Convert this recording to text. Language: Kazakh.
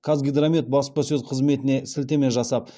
қазгидромет баспасөз қызметіне сілтеме жасап